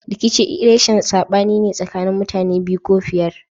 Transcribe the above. Rikici reshin sabani ne sakanin mutane biyu ko fiyar.